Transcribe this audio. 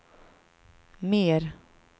mer